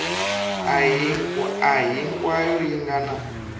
a hinkwayo yi nga na